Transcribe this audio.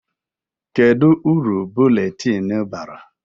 Kedụ uru buletin bara?